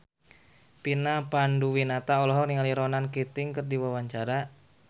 Vina Panduwinata olohok ningali Ronan Keating keur diwawancara